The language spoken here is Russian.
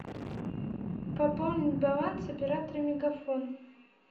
пополнить баланс оператора мегафон